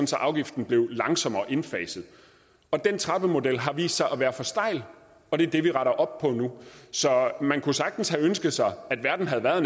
afgiften blev langsommere indfaset og den trappemodel har vist sig at være for stejl og det er det vi retter op på nu så man kunne sagtens ønske sig at verden havde været